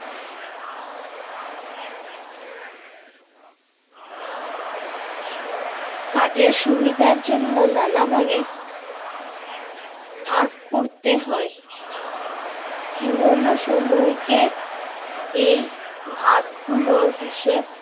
কাজের সুবিধার জন্য নানাভাবে ভাগ করতে হয়। পুরোনো সময়কে এই ভাগগুলোর হিসেব